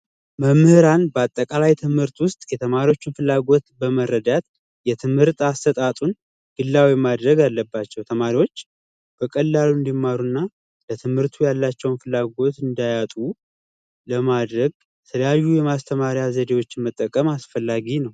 መምህራን በአጠቃላይ ትምህርቶች ውስጥ የተማሪዎችን ፍላጎት በመረዳት የትምህርት አሰጣጡን ግላዊ ማድረግ አለባቸው ተማሪዎች በቀላሉ እንዲማሩና ለትምህርቱ ያላቸው ፍላጎት እንዳያጡ ለማድረግ የተለያዩ የማስተማር ዘዴዎችን መጠቀም አስፈላጊ ነው።